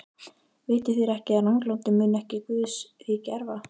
Vitið þér ekki, að ranglátir munu ekki Guðs ríki erfa?